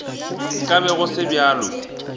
nka be go se bjalo